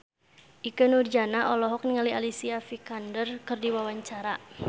Ikke Nurjanah olohok ningali Alicia Vikander keur diwawancara